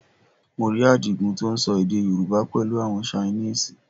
Mo rí Àdìgún tó ń sọ èdè Yorùbá pẹ̀lú àwọn Chinese